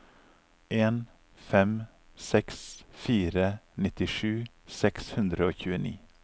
en fem seks fire nittisju seks hundre og tjueni